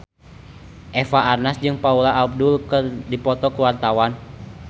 Eva Arnaz jeung Paula Abdul keur dipoto ku wartawan